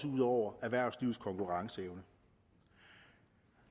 ud over erhvervslivets konkurrenceevne